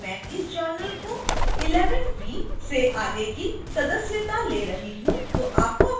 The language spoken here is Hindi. ध्यान दें कि मैं इस journal को 11 v से आगे की सदस्यता ले रही हूं